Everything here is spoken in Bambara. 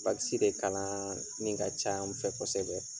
de kalan min ka can n fɛ kosɛbɛ.